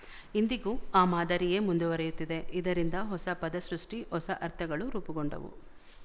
ಇಂದಿಗೂ ಆ ಮಾದರಿಯೇ ಮುಂದುವರಿಯುತ್ತಿದೆ ಇದರಿಂದ ಹೊಸ ಪದಸೃಷ್ಟಿ ಹೊಸ ಅರ್ಥಗಳು ರೂಪುಗೊಂಡವು